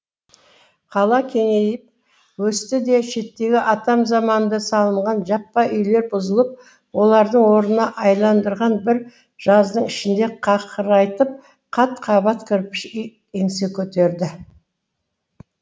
қала кеңейіп өсті де шеттегі атам заманда салынған жаппа үйлер бұзылып олардың орнына айналдырған бір жаздың ішінде қақырайтып қат қабат кірпіш үй еңсе көтерді